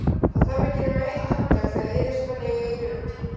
Það þarf ekki nema eitt handtak, þegar heiðursmenn eiga í hlut.